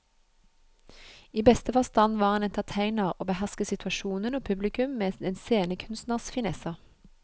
I beste forstand var han entertainer og behersket situasjonen og publikum med en scenekunstners finesser.